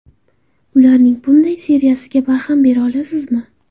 Ularning bunday seriyasiga barham bera olasizmi?